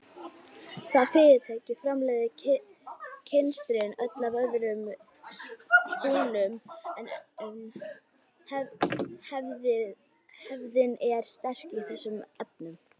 Það fyrirtæki framleiðir kynstrin öll af öðrum spúnum en hefðin er sterk í þessum efnum.